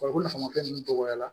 Farikolo nafa ninnu dɔgɔyara